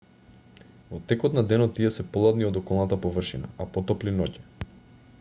во текот на денот тие се поладни од околната површина а потопли ноќе